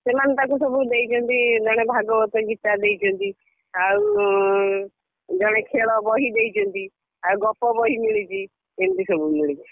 ସେମାନେ ତାକୁ ସବୁ ଦେଇଚନ୍ତି, ଜଣେ ଭାଗବତ ଗୀତା ଦେଇଚନ୍ତି, ଆଉ ଜଣେ ଖେଳ ବହି ଦେଇଚନ୍ତି ଆଉ ଗପ ବହି ମିଳିଚି। ଏମିତି ସବୁ ମିଳିଚି।